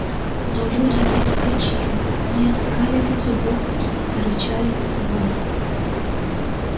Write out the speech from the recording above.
но люди не вскочили не оскалили зубов и не зарычали на него